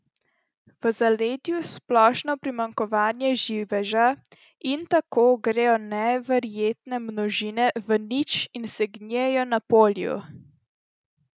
V zaledju splošno primanjkovanje živeža, in tukaj grejo neverjetne množine v nič in segnijejo na polju!